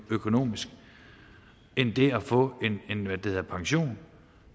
økonomisk end det at få en pension